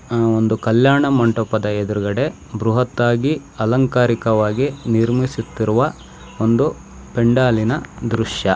ಈ ಒಂದು ಕಲ್ಯಾಣ ಮಂಟಪದ ಎದುರುಗಡೆ ಬೃಹತ್ತಾಗಿ ಅಲಂಕಾರಿಕವಾಗಿ ನಿರ್ಮಿಸುತ್ತಿರುವ ಒಂದು ಪೆಂಡಾಲಿನ ದೃಶ್ಯ.